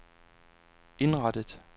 indrettet